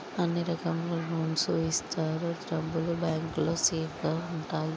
అన్ని రకముల లోన్స్ ఇస్తారు. డబ్బులు బ్యాంకు లో సేఫ్ గా ఉంటాయి.